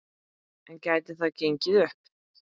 En gæti það gengið upp?